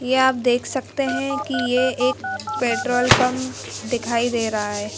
ये आप देख सकते हैं कि ये एक पेट्रोल पंप दिखाई दे रहा है।